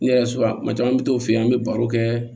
Ne yɛrɛ so a kuma caman an mi t'o fɛ yen an be baro kɛ